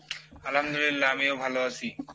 আলহামদুলিল্লাহ আমিও ভালো আসি।